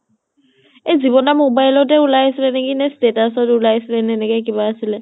এই জীবন দাৰ mobile তে ওলাইছিলে নেকি নে status ত ওলাইছিলে নে একেনে কিবা আছিলে